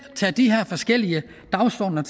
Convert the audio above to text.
tager de her forskellige dagsordener